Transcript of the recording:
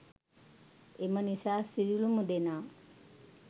එම නිසා සියලුම දෙනා